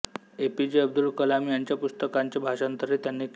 APJ Abdul Kalam यांच्या पुस्तकांचे भाषांतरही त्यांनी केले